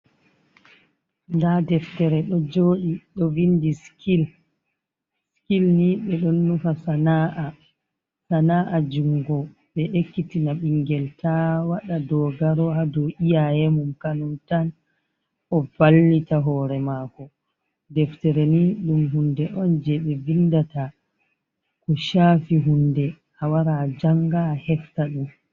Ndaa deftere ɗo joɗi, ɗo vindi sikil, sikil ni ɓe ɗo nufa sana’a, sana'a jungo ɓe ekkitina ɓingel ta waɗa dogaro ha dow iyaye mum, ka nyum tan o vallita hore mako. Deftere ni ɗum hunde on je ɓe vindata ko shafi hunde a wara a janga a hefta ɗum.